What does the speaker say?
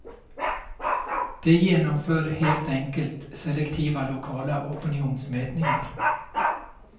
De genomför helt enkelt selektiva lokala opinionsmätningar.